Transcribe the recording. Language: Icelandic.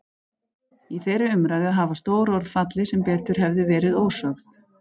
Í þeirri umræðu hafa stór orð fallið sem betur hefðu verið ósögð.